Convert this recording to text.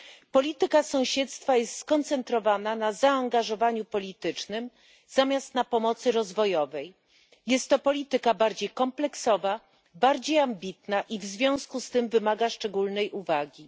Polityka sąsiedztwa jest skoncentrowana na zaangażowaniu politycznym zamiast na pomocy rozwojowej, jest to polityka bardziej kompleksowa, bardziej ambitna i w związku z tym wymaga szczególnej uwagi.